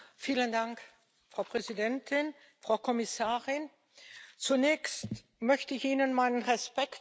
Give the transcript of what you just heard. Frau Präsidentin, Frau Kommissarin, zunächst möchte ich Ihnen meinen Respekt ausdrücken.